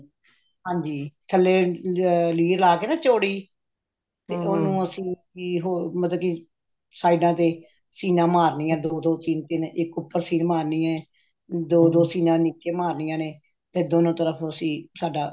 ਹਾਂਜੀ ਥੱਲੇ ਲੀਰ ਲਾ ਕੇ ਨਾ ਚੌੜੀ ਤੇ ਉਹਨੂੰ ਅਸੀਂ ਹੋਰ ਮਤਲਬ ਕੀ ਸਾਇਡਾ ਤੇ ਸੀਨਾ ਮਾਰਨੀਆ ਨੇ ਦੋ ਦੋ ਤਿੰਨ ਤਿੰਨ ਇੱਕ ਉੱਪਰ ਸੀਨ ਮਾਰਨੀ ਹੈ ਦੋ ਦੋ ਸੀਨਾ ਨੀਚੇ ਮਾਰਨੀਆ ਨੇ ਤੇ ਦੋਨੋ ਤਰਫ਼ ਅਸੀਂ ਸਾਡਾ